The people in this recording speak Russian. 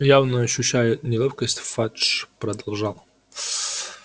явно ощущая неловкость фадж продолжал